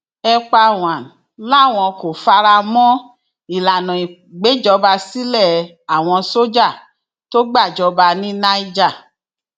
epawàn làwọn kò fara mọ ìlànà ìgbèjọba sílé àwọn sójà tó gbàjọba ní niger